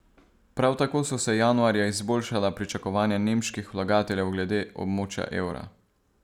Prav tako so se januarja izboljšala pričakovanja nemških vlagateljev glede območja evra.